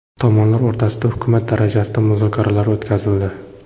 Tomonlar o‘rtasida hukumat darajasida muzokaralar o‘tkazildi.